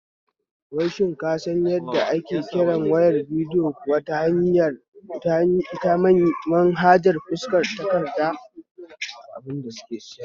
Wai shin ka san yadda ake kirar wayar bidiyo kuwa ta manhajar fuskar takarda?